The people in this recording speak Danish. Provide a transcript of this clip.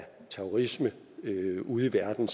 terrorisme ude i verden